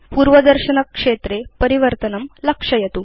पूर्वदर्शनक्षेत्रे परिवर्तनं लक्षयतु